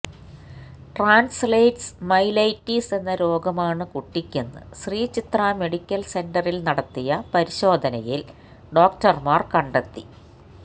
translates myelitis എന്ന രോഗമാണ് കുട്ടിക്കെന്ന് ശ്രീചിത്രാ മെഡിക്കൽ സെന്ററിൽ നടത്തിയ പരിശോധനയിൽ ഡോക്ടർമാർ കണ്ടെത്തി